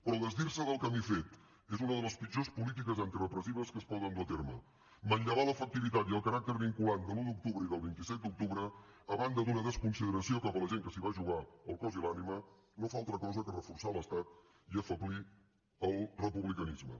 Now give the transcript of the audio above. però desdir se del camí fet és una de les pitjors polítiques antirepressives que es poden dur a terme manllevar l’efectivitat i el caràcter vinculant de l’un d’octubre i del vint set d’octubre a banda d’una desconsideració cap a la gent que s’hi va jugar el cos i l’ànima no fa altra cosa que reforçar l’estat i afeblir el republicanisme